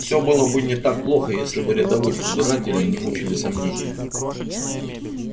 всё было бы не так плохо если бы рядовых избирателей не мучили сомнения